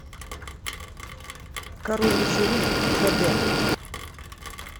король вечеринок х д